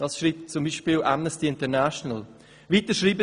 » Dies schreibt beispielsweise Amnesty International und weiter: